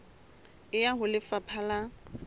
e ya ho lefapha la